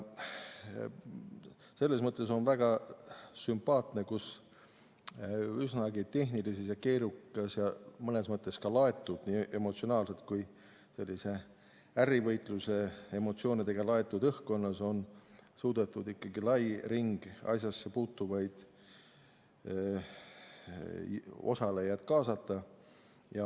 Selles mõttes on väga sümpaatne, et üsnagi tehnilises ja keerukas, mõnes mõttes isegi nii emotsionaalselt kui ka ärivõitluse emotsioonidega laetud õhkkonnas on suudetud ikkagi kaasata lai ring asjasse puutuvaid osalejaid.